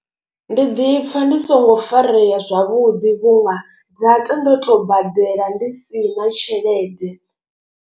Ndi ḓipfa ndi songo farea zwavhuḓi vhunga data ndo tou badela ndi si na tshelede.